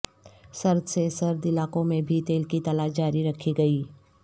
سرد سے سرد علاقوں میں بھی تیل کی تلاش جاری رکھی گئی